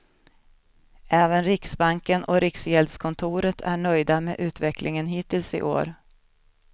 Även riksbanken och riksgäldskontoret är nöjda med utvecklingen hittills i år.